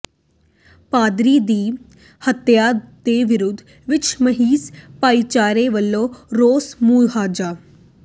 ਪਾਦਰੀ ਦੀ ਹੱਤਿਆ ਦੇ ਵਿਰੋਧ ਵਿੱਚ ਮਸੀਹ ਭਾਈਚਾਰੇ ਵੱਲੋਂ ਰੋਸ ਮੁਜ਼ਾਹਰਾ